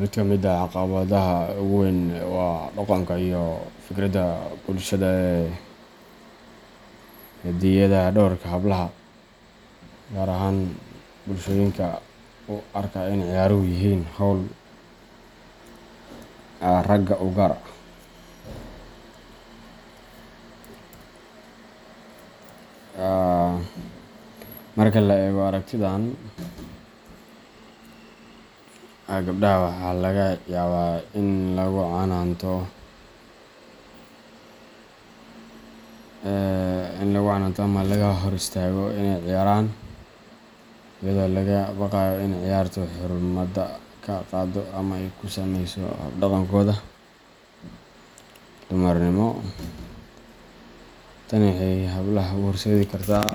Mid ka mid ah caqabadaha ugu weyn waa dhaqanka iyo fikirka bulshada ee xaddidaya doorka hablaha, gaar ahaan bulshooyinka u arka in ciyaaruhu yihiin hawl "RAGA u gaar ah." Marka la eego aragtidan, gabdhaha waxaa laga yaabaa in lagu canaanto ama laga hor istaago inay ciyaaraan, iyadoo laga baqayo in ciyaartu xurmada ka qaado ama ay ku saameyso hab dhaqankooda dumarnimo. Tani waxay hablaha u horseedi kartaa